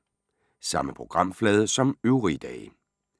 Samme programflade som øvrige dage